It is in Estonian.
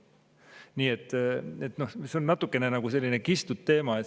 Nii et see on natuke nagu selline kistud teema.